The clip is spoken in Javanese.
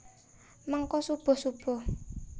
Mengko subuh subuh